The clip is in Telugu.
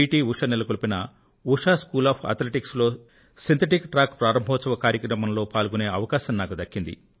ఉష గారు నెలకొల్పిన ఉషా స్కూల్ ఆఫ్ అథ్లెటిక్స్ లో సిన్ థెటిక్ ట్రాక్ ప్రారంభోత్సవ కార్యక్రమంలో పాల్గొనే అవకాశం నాకు దక్కింది